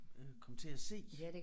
Øh kom til at se